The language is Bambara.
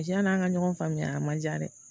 Tiyan'an ka ɲɔgɔn faamuya a man ca dɛ